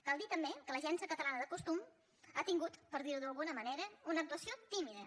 cal dir també que l’agència catalana del consum ha tingut per dir ho d’alguna manera una actuació tímida